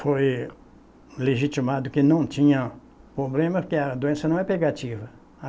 Foi legitimado que não tinha problema, porque a doença não é pegativa.